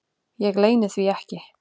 Ég leyni því ekki.